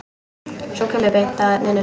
Sú kemur beint að efninu!